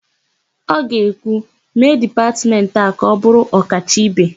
Ọ ga-ekwu, "mee dipatmentị a ka ọ bụrụ ọkacha ibe"!